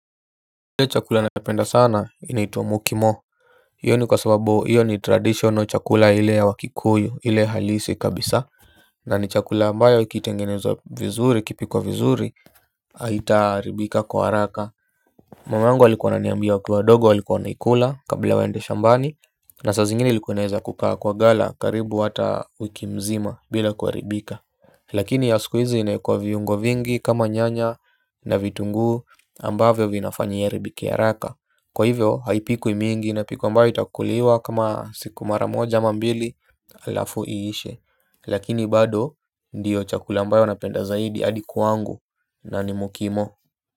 Ile chakula napenda sana inaitwa mukimo. Iyo ni kwa sababu iyo ni traditional chakula ile ya wakikuyu ile halisi kabisa. Na ni chakula ambayo ikitengenezwa vizuri ikipikwa vizuri haitaharibika kwa haraka. Mamangu alikuwa ananiambia wakiwa wadogo walikuwa wanaikula kabla waende shambani. Na sa zingine ilikua inaeza kukaa kwa gala karibu hata wiki mzima bila kuaribika. Lakini ya sikuhizi inaikwe viungo vingi kama nyanya na vitunguu ambavyo vinafanya iharibike haraka. Kwa hivyo haipikwi mingi inapikwa ambayo itakuliwa kama siku mara moja ama mbili alafu iishe. Lakini bado ndiyo chakula ambayo napenda zaidi hadi kwangu na ni mukimo.